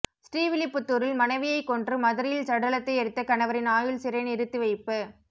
ஸ்ரீவில்லிபுத்தூரில் மனைவியை கொன்று மதுரையில் சடலத்தை எரித்த கணவரின் ஆயுள் சிறை நிறுத்தி வைப்பு